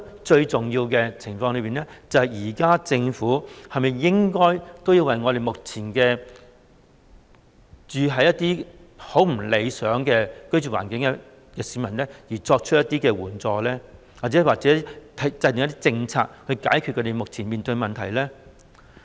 最重要的是，政府是否應該為目前住在一些不太理想的居住環境的市民提供一些援助，或制訂一些政策以解決他們面對的問題呢？